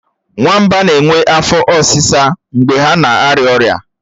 Nwamba na-enwe afo osisa mgbe ha na arịa ọrịa